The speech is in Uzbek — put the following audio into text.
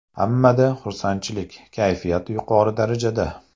Hammada xursandchilik, kayfiyat yuqori darajada.